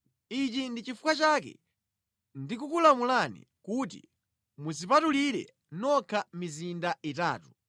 Ichi ndi chifukwa chake ndikukulamulani kuti mudzipatulire nokha mizinda itatu.